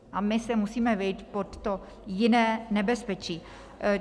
A my se musíme vejít pod to "jiné nebezpečí".